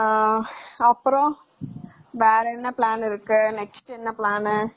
ஆஹ் அப்பறம் வேற என்ன plan இன்னைக்கு என்ன plan ?